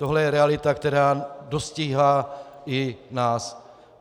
Tohle je realita, která dostíhá i nás.